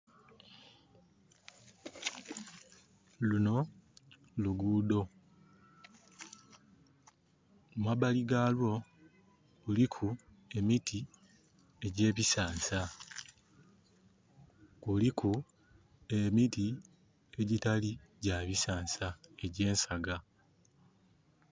Luno luguudo. Mumabali lwago luliku emiti egye bisansa. Kuliku emiti egyitali gya bisansa egye nsaga